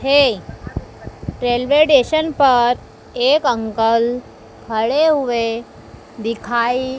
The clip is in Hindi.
है। रेलवे स्टेशन पर एक अंकल खड़े हुए दिखाई--